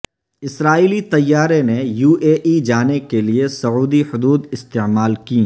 اسرائیلی طیارے نے یواےای جانے کےلئے سعودی حدود استعمال کیں